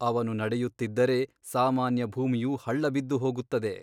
ಅವನು ನಡೆಯುತ್ತಿದ್ದರೆ ಸಾಮಾನ್ಯ ಭೂಮಿಯು ಹಳ್ಳ ಬಿದ್ದುಹೋಗುತ್ತದೆ.